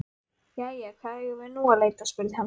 Jæja, hvar eigum við nú að leita? spurði hann.